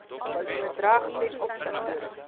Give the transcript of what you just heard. bedrag ten opsigte